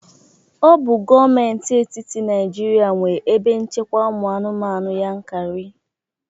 Ọ bụ Gọọmenti etiti Naịjirịa nwe ebe nchekwa ụmụ anụmanụ Yankari